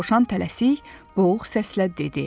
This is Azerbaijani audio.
Dovşan tələsik boğuq səslə dedi.